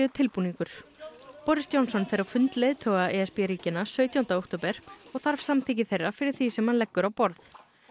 tilbúningur boris Johnson fer á fund leiðtoga e s b ríkjanna sautjánda október og þarf samþykki þeirra fyrir því sem hann leggur á borð